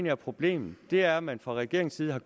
er problemet er at man fra regeringens side har